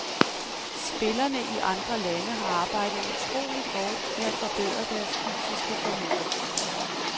Spillerne i andre lande har arbejdet utroligt hårdt med at forbedre deres fysiske formåen.